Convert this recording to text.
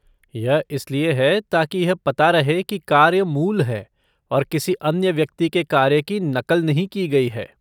यह इसलिए है ताकि यह पता रहे कि कार्य मूल है और किसी अन्य व्यक्ति के कार्य की नक़ल नहीं की गई है।